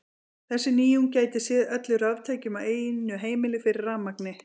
Þessi nýjung gæti séð öllum raftækjum á einu heimili fyrir rafmagni.